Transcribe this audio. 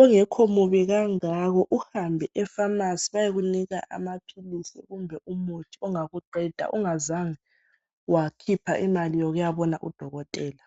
ongekho mubi kangako uhambe efamasi bayekunika amaphilisi kumbe umuthi ongakuqeda ungazange wakhipha imali yokuyabona udokotela.